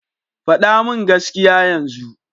Faɗa min gaskiya yanzu!